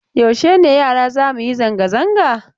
Yaushe ne yara za mu yi zanga-zanga?